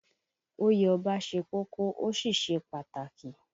Oyè Ọba ṣe kókó, ó sì ṣe pàtàkì